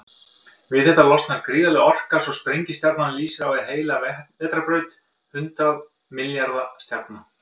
Við þetta losnar gríðarleg orka, svo sprengistjarnan lýsir á við heila vetrarbraut hundrað milljarða stjarna.